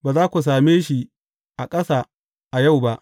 Ba za ku same shi a ƙasa a yau ba.